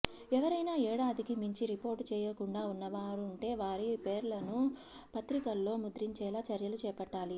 ఎవరైనా ఏడాదికి మించి రిపోర్టు చేయకుండా ఉన్న వారుంటే వారి పేర్లను పత్రికల్లో ముద్రించేలా చర్యలు చేపట్టాలి